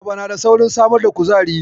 Ayaba na da saurin samar da kuzari.